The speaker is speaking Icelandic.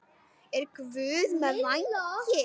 Er Guð með vængi?